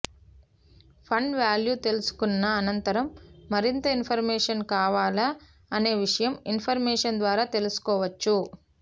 fund value తెలుసుకున్న అనంతరం మరింత ఇన్ఫర్మేషన్ కావాలా అనే విషయం ఇన్ఫర్మేషన్ ద్వారా తెలుసుకోవచ్చు